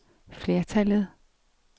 flertallet